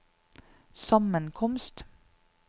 sammenkomst